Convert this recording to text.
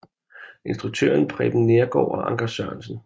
Instruktion Preben Neergaard og Anker Sørensen